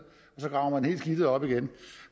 så graver man hele skidtet op igen